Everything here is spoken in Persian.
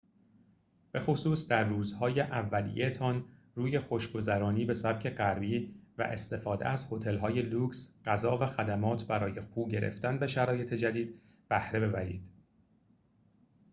به‌خصوص در روزهای اولیه‌تان روی خوش‌گذرانی به سبک غربی و استفاده از هتل‌های لوکس غذا و خدمات برای خو گرفتن به شرایط جدید بهره ببرید